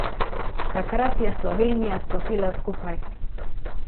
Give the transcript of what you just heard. Takrat je Slovenija stopila skupaj.